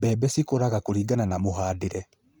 Mbebe cikũraga kũringana na mũhandĩre